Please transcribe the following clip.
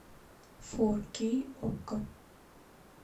фор кей окко